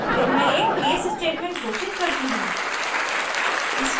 फिर मैं एक case स्टेटमेंट घोषित करती हूँ